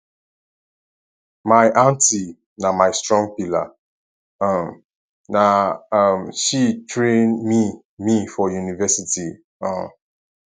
my aunty na my strong pillar um na um she train me me for university um